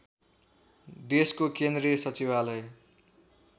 देशको केन्द्रीय सचिवालय